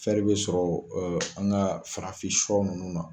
bɛ sɔrɔ an ka farafin siyɔ ninnu na.